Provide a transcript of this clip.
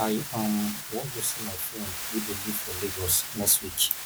i um wan go see my friend wey dey live for lagos next week